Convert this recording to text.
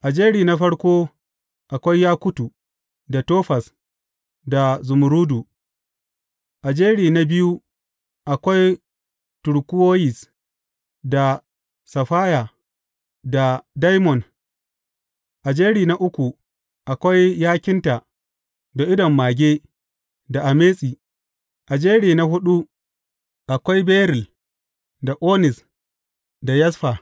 A jeri na farko akwai yakutu, da tofaz, da zumurrudu; a jeri na biyu akwai turkuwoyis, da saffaya, da daimon; a jeri na uku akwai yakinta, da idon mage, da ametis; a jeri na huɗu akwai beril, da onis, da yasfa.